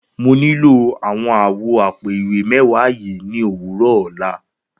Mo nílò awọn àwọ̀ àpò-ìwé mẹwa yii ni owurọ ọla.